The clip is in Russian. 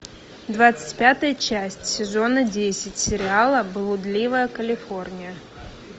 двадцать пятая часть сезона десять сериала блудливая калифорния